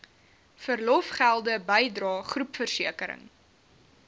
verlofgelde bydrae groepversekering